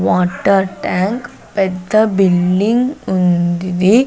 Water tank పెద్ద building ఉందిది .